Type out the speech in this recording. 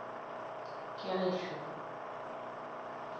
Keraisho.